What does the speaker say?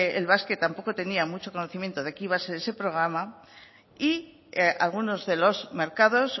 el basque tampoco tenía mucho conocimiento de qué iba a ser programa y algunos de los mercados